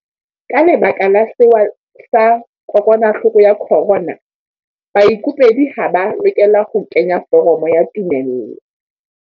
Ka lebaka la sewa sa kokwanahloko ya corona, baikopedi ha ba a lokela ho kenya foromo ya tumello.